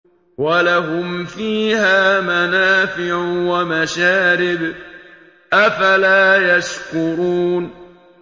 وَلَهُمْ فِيهَا مَنَافِعُ وَمَشَارِبُ ۖ أَفَلَا يَشْكُرُونَ